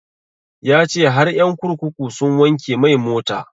Ya ce har ƴan kurkuku sun wanke mai mota